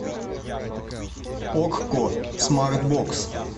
окко смарт бокс